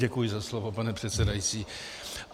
Děkuji za slovo, pane předsedající.